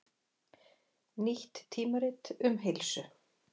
Nýtt tímarit um heilsu